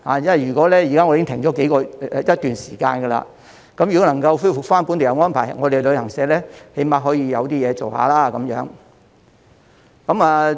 因為現時已經停了一段時間，如果能夠恢復本地遊安排，旅行社最低限度有些生意可以做。